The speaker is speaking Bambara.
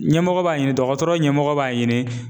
Ɲɛmɔgɔ b'a ɲini dɔgɔtɔrɔ ɲɛmɔgɔ b'a ɲini